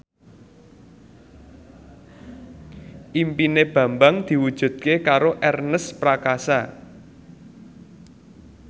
impine Bambang diwujudke karo Ernest Prakasa